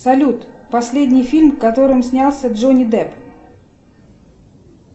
салют последний фильм в котором снялся джонни депп